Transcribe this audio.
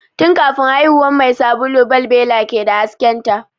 Tun kafin haihuwan mai sabulu balbela ke da hasken ta